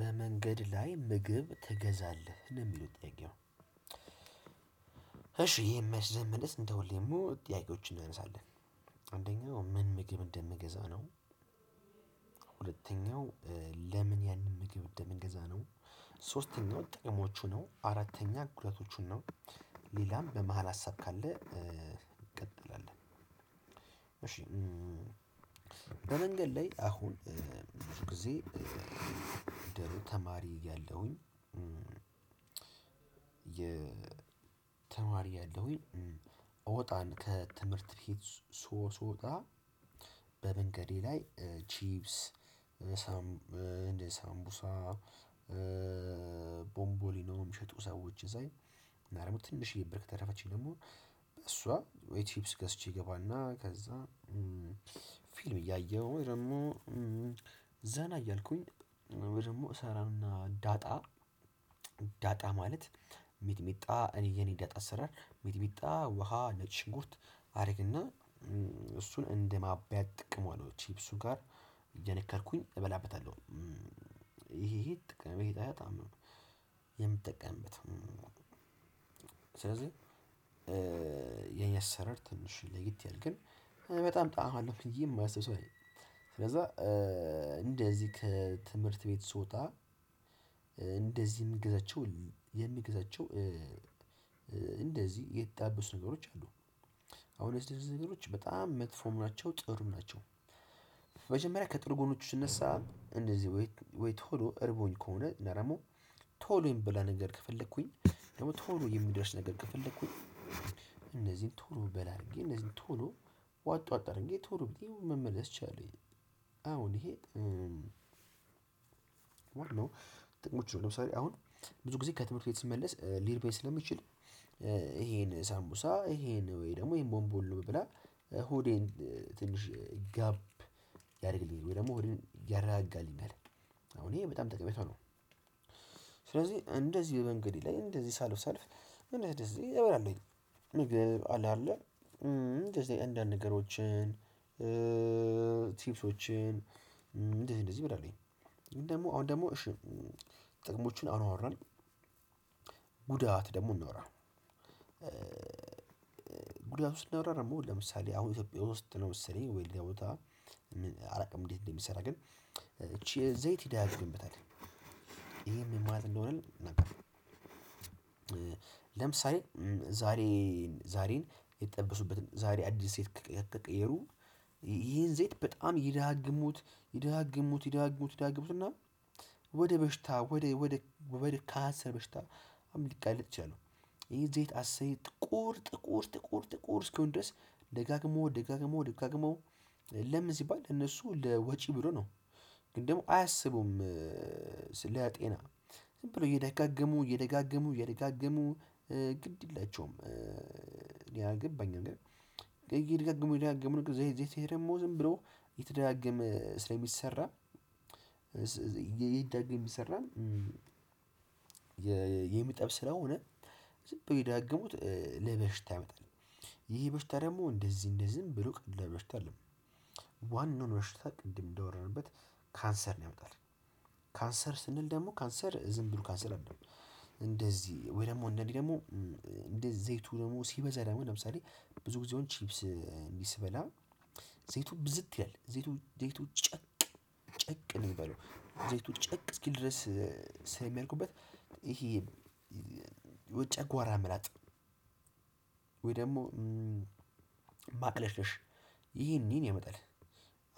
በመንገድ ላይ ምግብ ትገዛለህ ነው ሚለው ጥያቄው? እሺ መልስ ለመመለስ እንደውልህ ጥያቄዎችን እናነሳለን። አንደኛው ምን ምግብ እንደምገዛ ነው? ሁለተኛው ለምን ያንን ምግብ ወደምንገዛ ነው? ሶስተኛው ጥቅሞቹ ነው አራተኛ ጉዳቶቹን ነው። ሌላም በመሃል ሀሳብ ካለ እንቀጥላለን። እሺ በመንገድ ላይ አሁን ብዙ ጊዜ ተማሪ ያለሁኝ። ተማሪ እያለሁኝ እወጣን ከትምህርት ቤት ሶሶ ጣ በመንገዴ ላይ ቺፕስ። ሳምቡሳ ቦምቦሊኖም ሸጡ ሰዎች ሳይ እና ደግሞ ትንሽዬ ብር ከተረፈችኝ ደግሞ በሷ ወይ ቺፕስ ገዝቼ ገባና ከዛ። ፊልም እያየሁ ወይ ደግሞ ዘና እያልኩኝ ወይ ደሞ እሰራና ዳጣ። ዳጣ ማለት ሚጥሚጣ እኔ የኔ ዳጣ አሰራር ሚጥሚጣ ውሃ ነጭ ሽኩርት አድርግና እሱን እንደ ማብያ እጠቀመዋለሁ ቺፕሱ ጋር እየነከርኩኝ እበላበታለሁ። ይሄ ይሄ ጥቅም በጣም ነው የምጠቀምበት። ስለዚህ የኔ አሰራር ትንሽ ለየት ይላል ግን። በጣም ጣዕም አለው ብየ ማስብ ሰው ስለዚህ። ስለዛ እንደዚህ ከትምህርት ቤት ስወጣ እንደዚህ ሚገዛቸው የሚገዛቸው። እንደዚህ የተጠባበሱ ነገሮች አሉ አሁን የተጣበሱ ነገሮች በጣም መጥፎም ናቸው ጥሩም ናቸው። ከጥሩ ጎኖቹ ስነሳ እንደዚህ ወይ ቶሎ እረቦኝ ከሆነ እና ደግሞ ቶሎ የሚበላ ነገር ከፈለኩኝ ደግሞ ቶሎ የሚደርስ ነገር ከፈለኩኝ። እነዚህን ቶሎ በላ አድርጌ እነዚህን ቶሎ ዋጥ ዋጥ አድርጌ ቶሎ መመለስ ችላለሁኜ አሁን ይሄ ጥቅሞች ነው። ለምሳሌ አሁን ብዙ ጊዜ ከትምህርት ቤት ስመለስ ሊርበኝ ስለሚችል። ይሄን ሳሙቡሳ ይሄን ወይ ደሞ ይሄን ቦንቦሊኖ ነው ብበላ ሆዴን ትንሽ ጋብ ያደርግልኝ ወይ ደሞ ሆዴን ያረጋጋልኛል አሁን ይሄ በጣም ጠቀሜታው ነው። ስለዚህ እንደዚህ መንገዴ ላይ እንደዚህ ሳልፍሳልፍ እንደዚህ እበላለሁኝ። ምግብ አለ አይደለ እንደዚህ አንዳንድ ነገሮችን ቲቭሶችን እንደዚህ እንደዚህ እበላለሁኝ ግን ደሞ አሁን ደሞ እሺ ጥቅሞችን አወራን። ጉዳት ደግሞ እንወራ። ጉዳቱን ስናወራ ደሞ ለምሳሌ አሁን ኢትዮጵያ ውስጥ ነው መሰለኝ ወይ ሌላ ቦታ አላቅም። እንዴት እንደሚሰራ ግን። ይቺ ዘይት ይደጋግምበታል። ይሄ ምን ማለት እንደሆነ? ለምሳሌ ዛሬ ዛሬን የተጠበሱበትን ዛሬ አዲስ ከቀየሩ ይሄን ዘይት በጣም ይደጋግሙት ይደጋግሙት ይደጋግሙት ይደጋግሙት እና ወደ በሽታ ወደ ወደ ከሀሰር በሽታ አምልቃለት ቻለው። ይሄ ዘይት አስር ጥቁር ጥቁር ጥቁር እስኪሆን ድረስ ደጋግሞ ደጋግሞ ደጋግሞ ለምን ሲባል እነሱ ለወጪ ብሎ ነው። ግን ደግሞ አያሰቡም። ስለ ጤና ዝም ብሎ እየደጋገሙ እየደጋገሙ እየደጋገሙ ግድ የላቸውም እኔ አልገባኝም ግን። እየደጋገሙ እየደጋገሙ ዘይ ዘይ ደሞ ዝም ብሎ የተደጋገመ ስለሚሰራ። ይደግም ይሰራል። የሚጠብ ስለሆነ ዝብ ቢደጋግሙት ለበሽታ ይመጣል። ይሄ በሽታ ደግሞ እንደዚህ እንደዚህ ዝም ብሎ ቀላል በሽታ አይደለም። ዋናውን በሽታ ቅድም እንዳወራንበት ካንሰር ነው ያመጣል። ካንሰር ስንል ደግሞ ካንሰር ዝም ብሎ ካንሰር አይደለም። እንደዚህ ወይ ደግሞ አንዳንዴ ደግሞ እንደ ዘይቱ ደግሞ ሲበዛ ደግሞ ለምሳሌ ብዙ ጊዜ ችፕስ ስበላ ዘይቱ ብዝት ይላል ዘይቱ ዘይቱ ጨቅ ጨቅ ነው የሚባለው ዘይቱ ጨቅ እስኪል ድረስ ስለሚያደርጉበት። ይሄ ወይ ጨጓራ መላጥ ደግሞ ማቅለሽለሽ ይሄን ይሄን ያመጣል።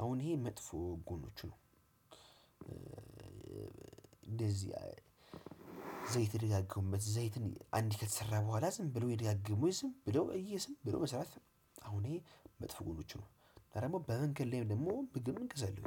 አሁን ይሄ መጥፎ ጎኖቹ ነው። እንደዚህ ዘይት የደጋገሙበት ዘይትን አንዴ ከተሰራ በኋላ ዝም ብሎ እየደጋገሙ ዝም ብሎ እየሰራ ዝምብሎ መስራት። አሁን ይሄ መጥፎ ጎኖች ነው ሌላ ደግሞ በመንገድ ላይ ደግሞ ምግብም ገዛለሁ።